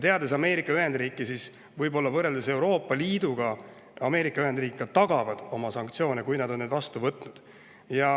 Teades Ameerika Ühendriike, siis Ameerika Ühendriigid võib-olla võrreldes Euroopa Liiduga ka tagavad oma sanktsioonide, kui nad on need vastu võtnud.